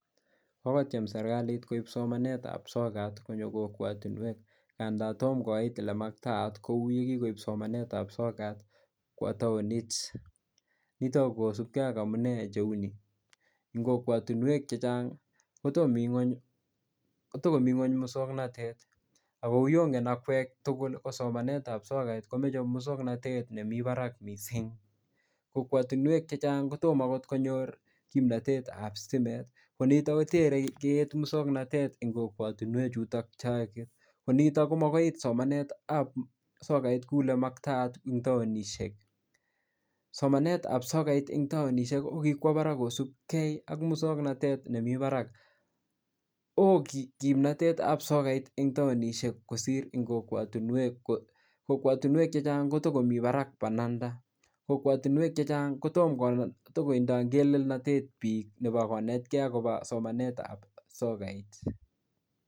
Kokotiem serkalit koip somanetab sokat konyo kokwotinuek nganda tomo koit olemaktaat kuo ye kikoip somanetak sokat kwo taonit. Nitok kosipke ak amune cheuni, eng kokwotinwek chechang kotogomi ngwong moswognatet ago kuyongen akwek tugul ko somanetab sokat komoche muswoknatet nemi barak mising. Kokwatinwek chechang kotom agot konyor kimnatetab stimet. Konitok kotei kiit muswoknatet eng kokwatinwek chutok chaangen. Konitok komakoi koit somanetab sokait ku olemaktaat eng taonisiek. Somanetab sokait eng taonisiek ko kikwa barak kosipke ak muswoknatet nemi barak. Oo kimnatetab sokait eng taonisiek kosir eng kokwamitwek. Kokwatinwek chechang kotagomi barak pananda. Kokwatinwek chechang kotokotindoi ingelelnatet biik nebo konetkei agobo somanetab sokait.